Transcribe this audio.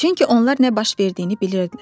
Çünki onlar nə baş verdiyini bilirdilər.